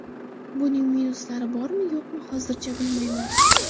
Buning minuslari bormi-yo‘qmi, hozircha bilmayman.